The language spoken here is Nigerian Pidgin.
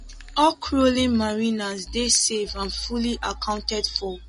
all crowley mariners dey safe and fully accounted for